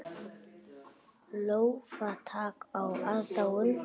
Lófatak og aðdáun.